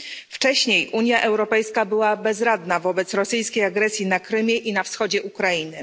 Wcześniej Unia Europejska była bezradna wobec rosyjskiej agresji na Krymie i na wschodzie Ukrainy.